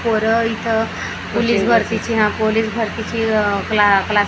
पोरं इथ पोलिस भरतीची हा पोलिस भरतीची का अ क्लासेस --